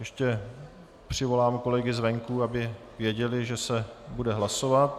Ještě přivolám kolegy zvenku, aby věděli, že se bude hlasovat.